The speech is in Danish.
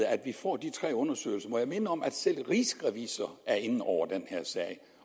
at vi får de tre undersøgelser må jeg minde om at selv rigsrevisor er inde over den her sag